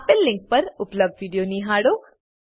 આપેલ લીંક પર ઉપલબ્ધ વિડીયો નિહાળો